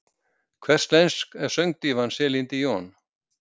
Hvers lensk er söngdívan Celine Dion?